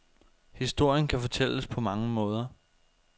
Historien kan fortælles på mange måder.